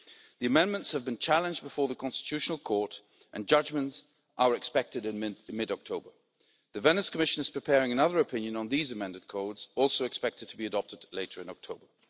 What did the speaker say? The amendments have been challenged before the Constitutional Court, and judgments are expected in mid October. The Venice Commission is preparing another opinion on these amended codes, which is also expected to be adopted later in October.